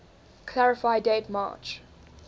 clarify date march